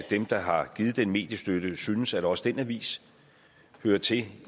dem der har givet den mediestøtte synes at også den avis hører til